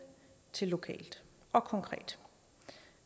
til lokalt og konkret